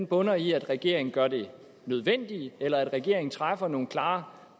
bunder i at regeringen gør det nødvendige eller at regeringen træffer nogle klare